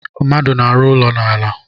Mmadụ na-arụ ụlọ n'ala